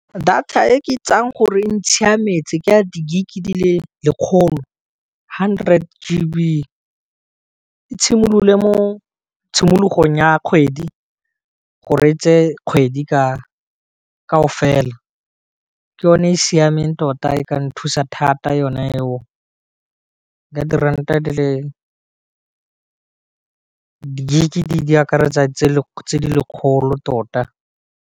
Data e ke itseng gore ntshiametse ke ya di-gig dile lekgolo hundred g b ke tshimololo mo tshimologong ya kgwedi go reetse kgwedi ka kao fela, ke yone e e siameng tota e ka nthusa thata yona eo ya diranta di le di gig di akaretsa tse di lekgolo tota.